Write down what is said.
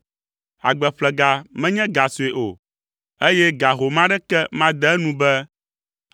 Agbeƒlega menye ga sue o, eye ga home aɖeke made enu be